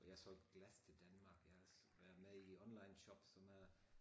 Jeg solgte glas til Danmark og jeg har også været med i onlineshop som øh